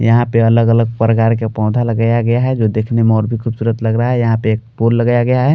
यहां पे अलग-अलग प्रकार के पौधा लगाया गया है जो देखने में और भी खूबसूरत लग रहा है यहां पे एक पोल लगाया गया है।